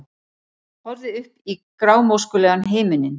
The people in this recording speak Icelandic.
Horfði upp í grámóskulegan himininn.